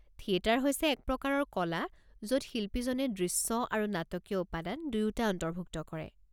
Theatre হৈছে এক প্ৰকাৰৰ কলা য'ত শিল্পীজনে দৃশ্য আৰু নাটকীয় উপাদান দুয়োটা অন্তৰ্ভুক্ত কৰে।